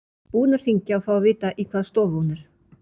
Búinn að hringja og fá að vita í hvaða stofu hún er.